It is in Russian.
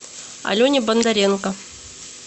алене бондаренко